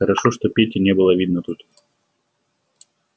хорошо что пети не было видно тут